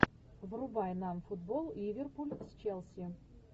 врубай нам футбол ливерпуль с челси